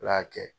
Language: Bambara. Ala y'a kɛ